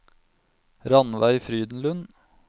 Rannveig Frydenlund